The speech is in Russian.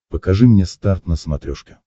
покажи мне старт на смотрешке